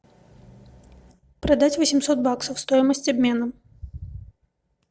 продать восемьсот баксов стоимость обмена